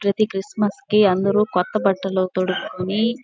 ప్రతి క్రిస్మస్ కి అందరూ కొత్త బట్టలు తోడుకొని--